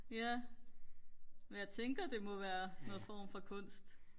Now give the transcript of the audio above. ja men jeg tænker det må være noget form for kunst